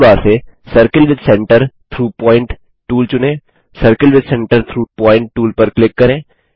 tool bar से circle with centre through point tool चुनें circle with centre through point tool पर click करें